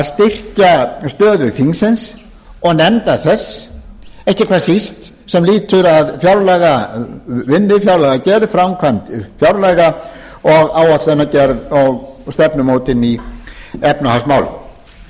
styrkja stöðu þingsins og nefnda þess ekki hvað síst sem lýtur að fjárlagavinnu fjárlagagerð framkvæmd fjárlaga og áætlanagerð og stefnumótun í efnahagsmálum